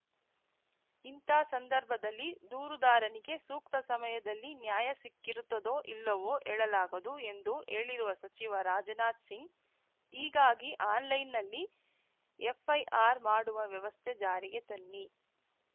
ಇಂಥ ಸಂದರ್ಭದಲ್ಲಿ ದೂರುದಾರನಿಗೆ ಸೂಕ್ತ ಸಮಯದಲ್ಲಿ ನ್ಯಾಯ ಸಿಕ್ಕಿರುತ್ತದೋ ಇಲ್ಲವೋ ಹೇಳಲಾಗದು ಎಂದು ಹೇಳಿರುವ ಸಚಿವ ರಾಜನಾಥ್‌ ಸಿಂಗ್‌ ಹೀಗಾಗಿ ಆನ್‌ಲೈನ್‌ನಲ್ಲಿ ಎಫ್‌ಐಆರ್‌ ಮಾಡುವ ವ್ಯವಸ್ಥೆ ಜಾರಿಗೆ ತನ್ನಿ